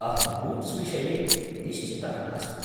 अहं बूट्स्विषये निश्चितः नास्मि।